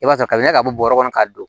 I b'a sɔrɔ ka ɲaga b'a kɔnɔ k'a don